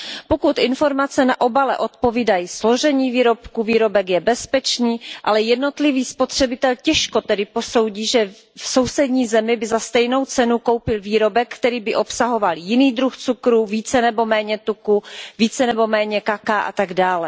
Pokud informace na obale odpovídají složení výrobku, výrobek je bezpečný, ale jednotlivý spotřebitel těžko tedy posoudí, že v sousední zemi by za stejnou cenu koupil výrobek, který by obsahoval jiný druh cukru, více nebo méně tuku, více nebo méně kakaa atd.